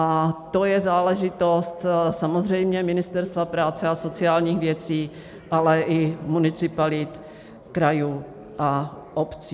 A to je záležitost samozřejmě Ministerstva práce a sociálních věcí, ale i municipalit, krajů a obcí.